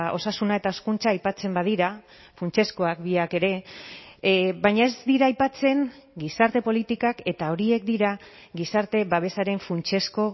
osasuna eta hezkuntza aipatzen badira funtsezkoak biak ere baina ez dira aipatzen gizarte politikak eta horiek dira gizarte babesaren funtsezko